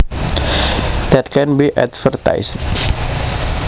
That can be advertized